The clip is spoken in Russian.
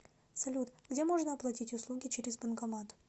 салют где можно оплатить услуги через банкомат